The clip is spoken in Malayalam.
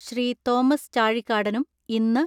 ശ്രീ. തോമസ് ചാഴിക്കാടനും ഇന്ന്